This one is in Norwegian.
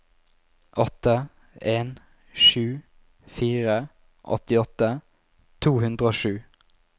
åtte en sju fire åttiåtte to hundre og sju